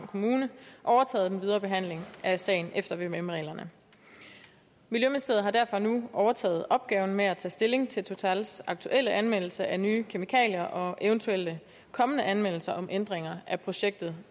kommune overtaget den videre behandling af sagen efter vvm reglerne miljøministeriet har derfor nu overtaget opgaven med at tage stilling til totals aktuelle anvendelse af nye kemikalier og eventuelle kommende anmeldelser om ændringer af projektet